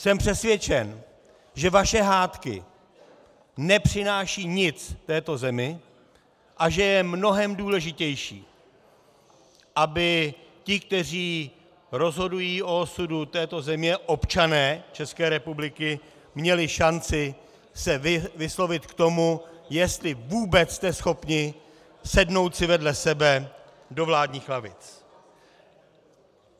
Jsem přesvědčen, že vaše hádky nepřinášejí nic této zemi a že je mnohem důležitější, aby ti, kteří rozhodují o osudu této země, občané České republiky, měli šanci se vyslovit k tomu, jestli vůbec jste schopni sednout si vedle sebe do vládních lavic.